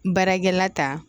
Baarakɛla ta